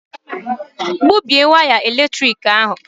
Gbubie waya eletrik ahụ!